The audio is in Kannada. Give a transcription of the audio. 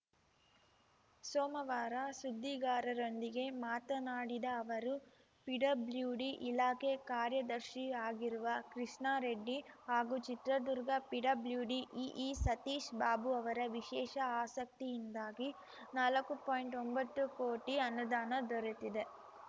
ಸೋಮವಾರ ಸುದ್ದಿಗಾರರೊಂದಿಗೆ ಮಾತನಾಡಿದ ಅವರು ಪಿಡಬ್ಲ್ಯೂಡಿ ಇಲಾಖೆ ಕಾರ್ಯದರ್ಶಿ ಆಗಿರುವ ಕೃಷ್ಣಾರೆಡ್ಡಿ ಹಾಗೂ ಚಿತ್ರದುರ್ಗ ಪಿಡಬ್ಲ್ಯೂಡಿ ಇಇ ಸತೀಶ್‌ ಬಾಬು ಅವರ ವಿಶೇಷ ಆಸಕ್ತಿಯಿಂದಾಗಿ ನಾಲಕ್ಕು ಪಾಯಿಂಟ್ಒಂಬತ್ತು ಕೋಟಿ ಅನುದಾನ ದೊರೆತಿದೆ